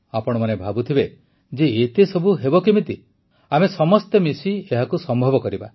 ଆପଣମାନେ ଭାବୁଥିବେ ଯେ ଏତେ ସବୁ ହେବ କେମିତି ଆମେ ସମସ୍ତେ ମିଶି ଏହାକୁ ସମ୍ଭବ କରିବା